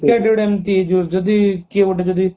cricket ଯଦି କିଏ ଗୋଟେ ଯଦି